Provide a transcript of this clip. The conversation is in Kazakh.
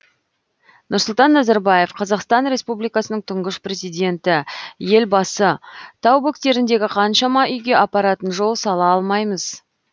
нұрсұлтан назарбаев қазақстан республикасының тұңғыш президенті елбасы тау бөктеріндегі қаншама үйге апаратын жол сала алмаймыз